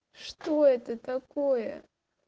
что это такое